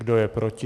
Kdo je proti?